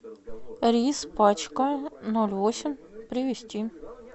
рис пачка ноль восемь привезти